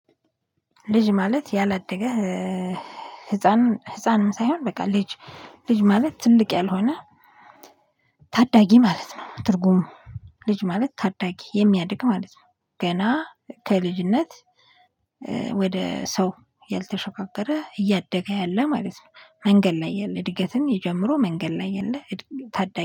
ልጅ ማለት ያላደገ ህፃን ህፃንም ሳይሆን በቃ ልጅ ልጅ ማለት ትልቅ ያልሆነ ታዳጊ ማለት ነው ትርጉሙ ልጅ ማለት ታዳጊ የሚያድግ ማለት ነው። ገና ከልጅነት ወደ ሰው ያልተሾካከረ እያደገ ያለ ማለት ነው መንገድ ላይ የለ እድገትን ጀምሮ መንገድ ላይ የለ ታዳጊ።